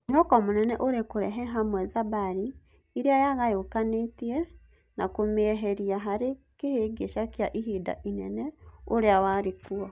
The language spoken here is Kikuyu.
Mwĩhoko mũnene ũrĩ-kũrehe hamwe Zimbari ĩrĩa yagayũkanĩte na kũmĩeheria harĩ kĩhĩngĩca kĩa ihinda inene ũria-warĩkuo.